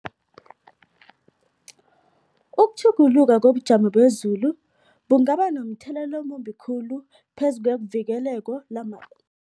Ukutjhuguluka kobujamo bezulu bungaba nomthelelo omumbi khulu phezu kwevikeleko